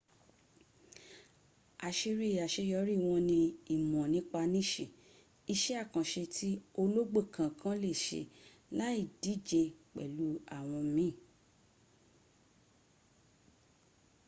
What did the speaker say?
àṣírí àṣeyọrí wọn ní ìmọ̀ nípa níṣì iṣẹ́ àkànṣe tí ológbò kookan lè ṣe láyì díje pẹ̀lú àwọn míì